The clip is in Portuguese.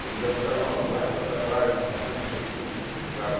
que eles já ficavam, oh, vai jogar praga na tua mãe, não sei o quê, e brincavam.